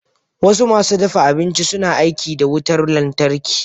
Wasu masu dafa abinci suna aiki da wutar lantarki.